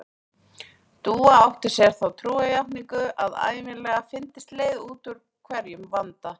Dúa átti sér þá trúarjátningu að ævinlega fyndist leið út úr hverjum vanda.